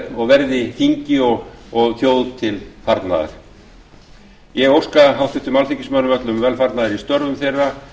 og verði þingi og þjóð til velfarnaðar ég óska háttvirtum alþingismönnum öllum velfarnaðar í störfum þeirra